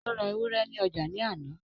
ó ra ewúrẹ́ ní ọjà ní àná